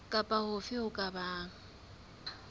kapa hofe ho ka bang